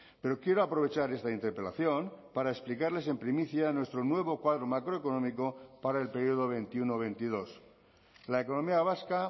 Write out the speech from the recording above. pero quiero aprovechar esta interpelación para explicarles en primicia nuestro nuevo cuadro macroeconómico para el periodo veintiuno veintidós la economía vasca